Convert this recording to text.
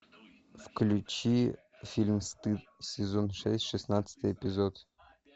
включи фильм стыд сезон шесть шестнадцатый эпизод